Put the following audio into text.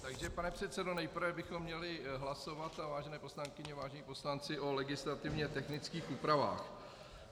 Takže pane předsedo, nejprve bychom měli hlasovat, a vážené poslankyně a vážení poslanci, o legislativně technických úpravách.